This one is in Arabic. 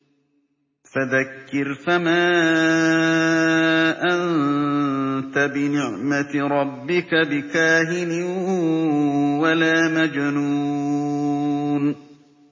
فَذَكِّرْ فَمَا أَنتَ بِنِعْمَتِ رَبِّكَ بِكَاهِنٍ وَلَا مَجْنُونٍ